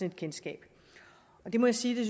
et kendskab jeg må sige